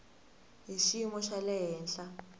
hi xiyimo xa le henhla